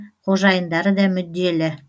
қожайындары да мүдделі